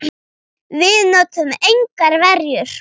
Við notuðum engar verjur.